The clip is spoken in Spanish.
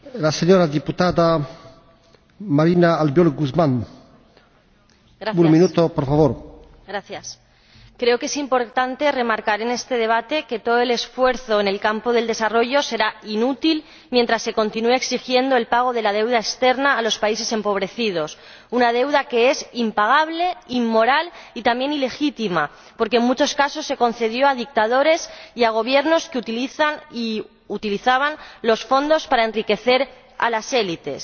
Señor Presidente, creo que es importante remarcar en este debate que todo el esfuerzo en el campo del desarrollo será inútil mientras se continúe exigiendo el pago de la deuda externa a los países empobrecidos, una deuda que es impagable, inmoral y también ilegítima porque, en muchos casos, se concedió a dictadores y a Gobiernos que utilizan y utilizaban los fondos para enriquecer a las élites.